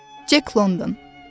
Cek London.